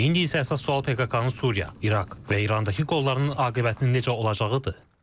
İndi isə əsas sual PKK-nın Suriya, İraq və İrandakı qollarının aqibətinin necə olacağıdır.